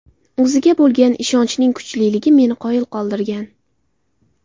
O‘ziga bo‘lgan ishonchning kuchliligi meni qoyil qoldirgan.